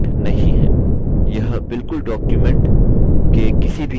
यह बिलकुल document के किसी भी साधारण text की तरह है